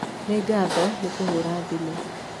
Nĩ ngatho nĩ kũhũra thimũ.